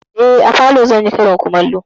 Eh, a falo zan yi karin kumallo.